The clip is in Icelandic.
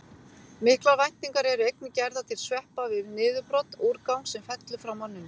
Miklar væntingar eru einnig gerðar til sveppa við niðurbrot úrgangs sem fellur frá manninum.